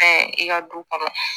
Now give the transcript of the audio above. Ɛɛ i ka du kɔnɔ